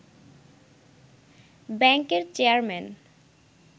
ব্যাংকের চেয়ারম্যান